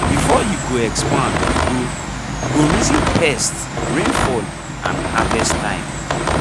before you go expand you go go reason pests rainfall and harvest time